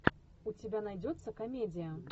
у тебя найдется комедия